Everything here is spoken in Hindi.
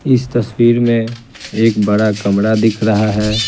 इस तस्वीर में एक बड़ा कमरा दिख रहा है ।